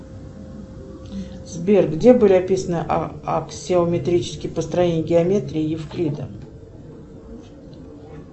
сбер где были описаны аксонометрические построения геометрии евклида